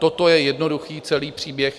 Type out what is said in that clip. Toto je jednoduchý celý příběh.